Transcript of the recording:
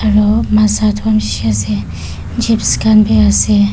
Aro mazza etu khan beshi ase chips khan bi ase.